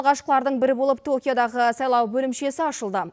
алғашқылардың бірі болып токиодағы сайлау бөлімшесі ашылды